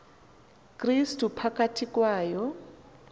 krestu phakathi kwayo